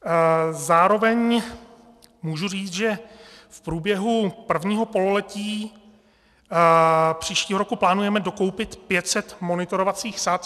Zároveň můžu říct, že v průběhu prvního pololetí příštího roku plánujeme dokoupit 500 monitorovacích sad.